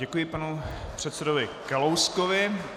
Děkuji panu předsedovi Kalouskovi.